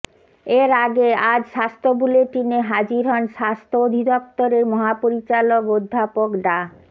এর আগে আজ স্বাস্থ্য বুলেটিনে হাজির হন স্বাস্থ্য অধিদপ্তরের মহাপরিচালক অধ্যাপক ডা